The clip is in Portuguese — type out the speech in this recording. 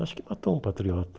Acho que matou um patriota.